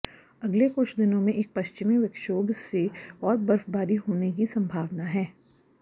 अगले कुछ दिनों में एक पश्चिमी विक्षोभ से और बर्फबारी होने की संभावना है